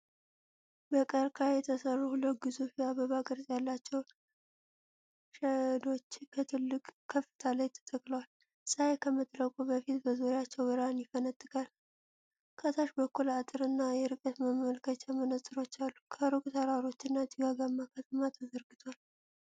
በቀርከሃ የተሰሩ ሁለት ግዙፍ የአበባ ቅርጽ ያላቸው ሼዶች ከትልቅ ከፍታ ላይ ተተክለዋል። ፀሐይ ከመጥለቋ በፊት በዙሪያቸው ብርሃን ይፈነጥቃል። ከታች በኩል አጥርና የርቀት መመልከቻ መነፅሮች አሉ። ከሩቅ ተራሮችና ጭጋጋማ ከተማ ተዘርግቷል።